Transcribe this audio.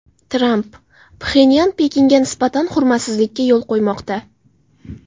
Tramp: Pxenyan Pekinga nisbatan hurmatsizlikka yo‘l qo‘ymoqda.